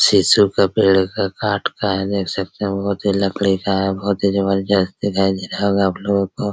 शिशो का पेड़ का काट का है देख सकते है बहुत ही लकड़ी का है बहुत ही जबरदस्त दिखाई दे रहा होगा आप लोगों को।